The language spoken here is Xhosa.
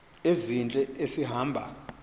ezintle esi hamba